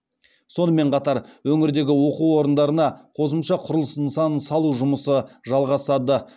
сонымен қатар өңірдегі оқу орындарына қосымша құрылыс нысанын салу жұмысы жалғасады